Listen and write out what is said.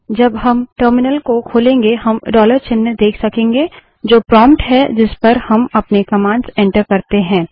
जब हम टर्मिनल को खोलेंगे हम डॉलर चिन्ह देख सकेंगे जो प्रोंप्ट है जिस पर हम अपने कमांड्स एंटर करते है